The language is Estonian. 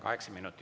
Kaheksa minutit.